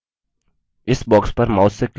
इस box पर mouse से click करें